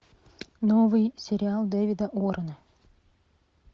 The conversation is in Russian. новый сериал дэвида уоррена